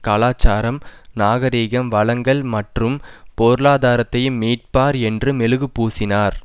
கலாச்சாரம் நாகரிகம் வளங்கள் மற்றும் பொருளாதாரத்தையும் மீட்பார் என்று மெழுகு பூசினார்